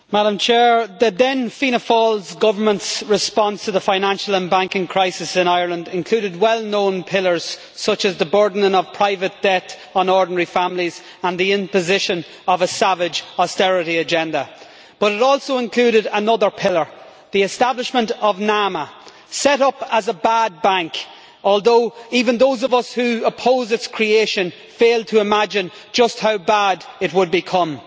Madam President, the then Fianna Fáil Government's response to the financial and banking crisis in Ireland included well known pillars such as the burdening of private debt on ordinary families and the imposition of a savage austerity agenda, but it also included another pillar, the establishment of NAMA set up as a bad bank' although even those of us who opposed its creation failed to imagine just how bad it would become.